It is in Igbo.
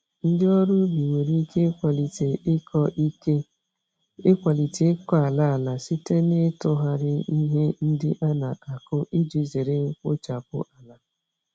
Ndị ọrụ ubi nwere ike ịkwalite ịkọ ike ịkwalite ịkọ ala ala site n'ịtụgharị ihe ndị an-akụ iji zere mkpochapụ ala.